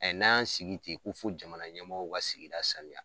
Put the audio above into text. Ɛ n'an y'an sigi ten ko fo jamana ɲɛmɔw ka sigida sanuya